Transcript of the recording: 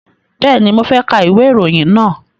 Bẹ́ẹ̀ni, mo fẹ́ ka ìwé ìròyìn náà